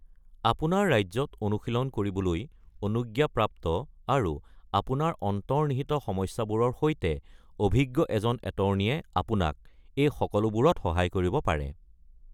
আপোনাৰ ৰাজ্যত অনুশীলন কৰিবলৈ অনুজ্ঞাপ্ৰাপ্ত আৰু আপোনাৰ অন্তৰ্নিহিত সমস্যাবোৰৰ সৈতে অভিজ্ঞ এজন এটৰ্ণীয়ে আপোনাক এই সকলোবোৰত সহায় কৰিব পাৰে।